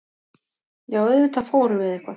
Já, auðvitað fórum við eitthvað.